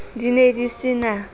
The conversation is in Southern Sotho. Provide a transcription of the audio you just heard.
di ne di se na